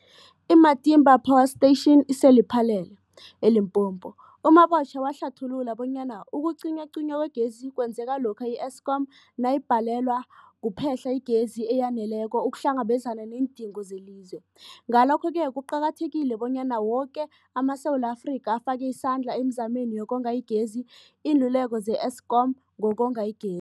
I-Matimba Power Station ise-Lephalale, eLimpopo. U-Mabotja wahlathulula bonyana ukucinywacinywa kwegezi kwenzeka lokha i-Eskom nayibhalelwa kuphe-hla igezi eyaneleko ukuhlangabezana neendingo zelizwe. Ngalokho-ke kuqakathekile bonyana woke amaSewula Afrika afake isandla emizameni yokonga igezi. Iinluleko ze-Eskom ngokonga ige